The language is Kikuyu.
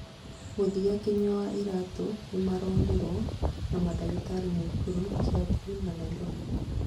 mũthia Kinyua wa iratu nimaronirwo na mandagĩtarĩ Nakuru, Kiambu na Nairobi